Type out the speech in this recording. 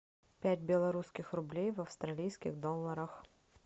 пять белорусских рублей в австралийских долларах